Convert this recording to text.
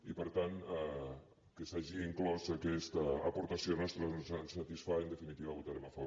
i per tant que s’hagi inclòs aquesta aportació nostra ens satisfà i en definitiva hi votarem a favor